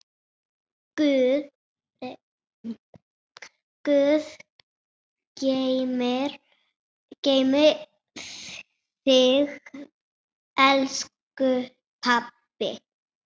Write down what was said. Guð geymi þig, elsku pabbi.